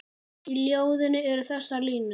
Í ljóðinu eru þessar línur